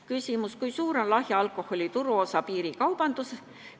Küsimus: kui suur on lahja alkoholi turuosa piirikaubanduses?